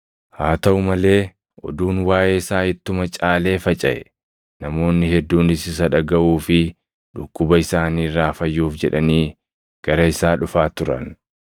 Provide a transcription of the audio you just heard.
Haa taʼuu malee oduun waaʼee isaa ittuma caalee facaʼe; namoonni hedduunis isa dhagaʼuu fi dhukkuba isaanii irraa fayyuuf jedhanii gara isaa dhufaa turan.